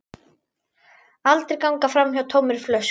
Aldrei ganga framhjá tómri flösku.